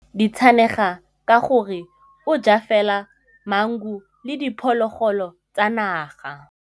Tshekô o rata ditsanaga ka gore o ja fela maungo le diphologolo tsa naga.